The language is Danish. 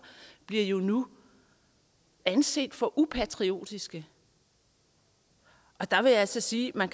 bliver jo nu anset for upatriotiske og der vil jeg altså sige at man